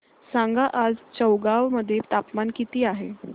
सांगा आज चौगाव मध्ये तापमान किता आहे